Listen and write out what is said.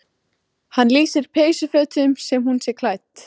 Einna lögulegust verða eldvörp sem myndast í kraftlitlum gosum.